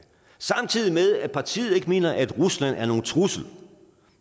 samtidig med at partiet ikke mener at rusland er nogen trussel